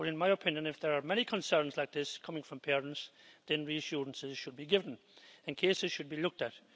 But, in my opinion, if there are many concerns like this coming from parents, then reassurances should be given and cases should be looked at.